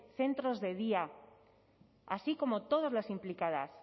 centros de día así como todas las implicadas